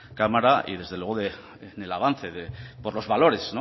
cámara y desde luego del avance por los valores